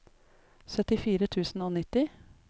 syttifire tusen og nitti